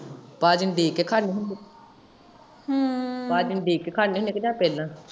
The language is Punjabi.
ਪਾਜੀ ਨੂੰ ਉਡੀਕ ਕੇ ਖਾਂਦੇ ਹੁੰਦੇ ਓ ਪਾਜੀ ਨੂੰ ਉਡੀਕ ਕੇ ਖਾਂਦੇ ਹੁੰਦੇ ਓ ਜਾ ਪਹਿਲਾਂ?